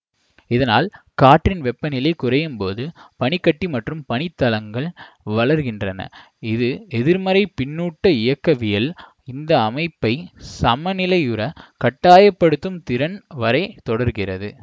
இதனால் காற்றின் வெப்பநிலை குறையும்போது பனி கட்டி மற்றும் பனித் தளங்கள் வளர்கின்றன இது எதிர்மறை பின்னூட்ட இயக்கவியல் இந்த அமைப்பை சமநிலையுற கட்டாய படுத்தும் திறன் வரை தொடர்கிறது